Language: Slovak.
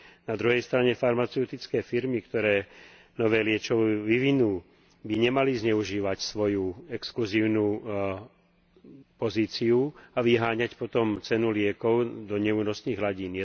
Na druhej strane farmaceutické firmy, ktoré nové liečivo vyvinú, by nemali zneužívať svoju exkluzívnu pozíciu a vyháňať potom cenu liekov do neúnosných hladín.